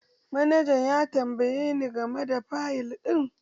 Manaja ya tambaye ni game da fayil ɗin